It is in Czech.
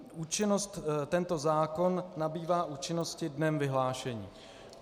Účinnost, tento zákon nabývá účinnosti dnem vyhlášení.